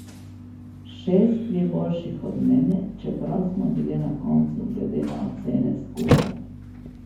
Šest je boljših od mene, čeprav smo bile na koncu glede na ocene skupaj.